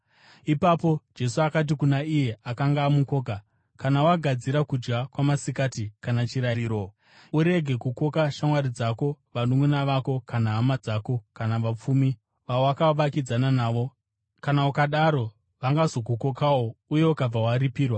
Ipapo Jesu akati kuna iye akanga amukoka, “Kana wagadzira kudya kwamasikati kana chirariro, urege kukoka shamwari dzako, vanunʼuna vako kana hama dzako, kana vapfumi vawakavakidzana navo; kana ukadaro vangazokukokawo uye ukabva waripirwa.